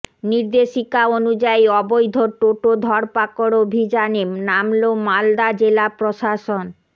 নির্দেশিকা অনুযায়ী অবৈধ টোটো ধরপাকড় অভিযানে নামল মালদা জেলা প্রশাসন